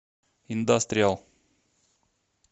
индастриал